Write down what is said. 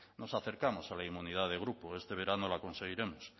nos acercamos a la inmunidad de grupo este verano la conseguiremos